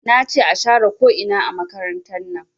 Nace a share ko ina a makarantar nan